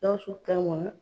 Gawusu ka